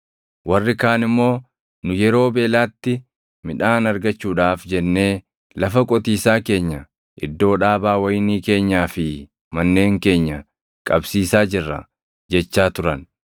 Warri kaan immoo, “Nu yeroo beelaatti midhaan argachuudhaaf jennee lafa qotiisaa keenya, iddoo dhaabaa wayinii keenyaa fi manneen keenya qabsiisaa jirra” jechaa turan.